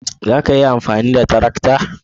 Za a iya amfani da tarakta?